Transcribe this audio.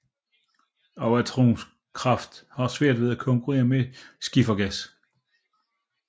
Også atomkraft har svært ved at konkurrere med skifergas